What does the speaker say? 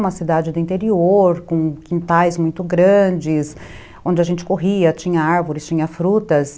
Uma cidade do interior, com quintais muito grandes, onde a gente corria, tinha árvores, tinha frutas.